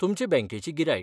तुमचे बँकेची गिरायक.